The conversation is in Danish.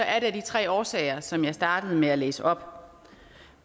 er det af de tre årsager som jeg startede med at læse op